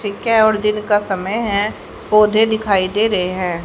फिर क्या और दिन का समय है पौधे दिखाई दे रहे हैं।